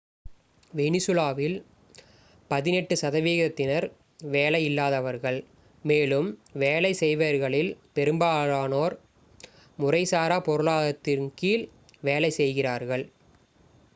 வெனிசுலாவில் பதினெட்டு சதவிகிதத்தினர் வேலை இல்லாதவர்கள் மேலும் வேலை செய்பவர்களில் பெரும்பாலோர் முறைசாரா பொருளாதாரத்தின் கீழ் வேலை செய்கிறார்கள்